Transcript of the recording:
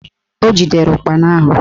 O jidere ụkpana ahụ